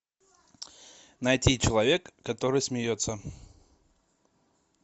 найти человек который смеется